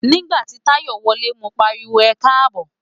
Nígbà tí Táyọ̀ wọlé, mo pariwo "ẹkáàbọ̀".